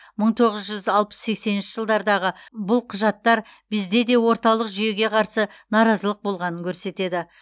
мың тоғыз жүз алпыс сексенінші жылдардағы бұл құжаттар бізде де орталық жүйеге қарсы наразылық болғанын көрсетеді